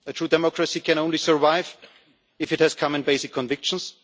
A true democracy can only survive if it has common basic convictions.